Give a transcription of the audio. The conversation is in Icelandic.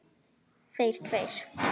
Þeir tveir.